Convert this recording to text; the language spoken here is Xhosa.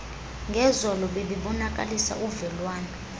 ngezolo bebebonakalisa uvelwane